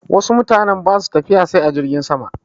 Wasu mutane ba su tafiya sai a jirgin sama.